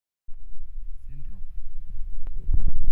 Syndrome?